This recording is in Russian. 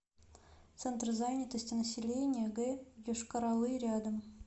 центр занятости населения г йошкар олы рядом